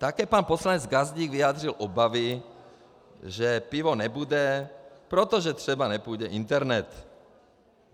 Také pan poslanec Gazdík vyjádřil obavy, že pivo nebude, protože třeba nepůjde internet.